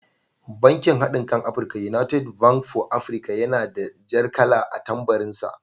Bankin haɗinkan Afirika (United Bank for Africa) yana da jar kala a tambarin sa.